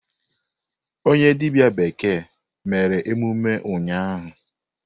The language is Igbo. Onye dibia bekee mere emume ụnyahụ.